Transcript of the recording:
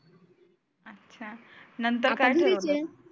अच्छा नंतर काय केलं?